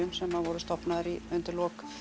sem að voru stofnaðar undir lok